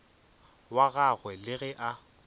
wa gagwe le ge a